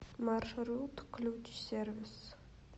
маршрут ключсервис